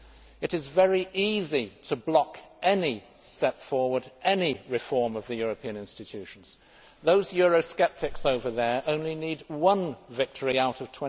It is very easy to block any step forward, any reform of the European instructions. Those Eurosceptics over there only need one victory out of